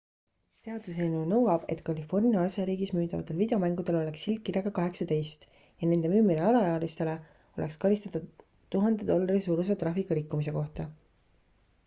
seaduseelnõu nõuab et california osariigis müüdavatel videomängudel oleks silt kirjaga 18 ja nende müümine alaealisele oleks karistatav 1000 dollari suuruse trahviga rikkumise kohta